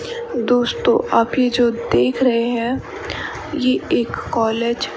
दोस्तों अभी जो देख रहे हैं ये एक कॉलेज ।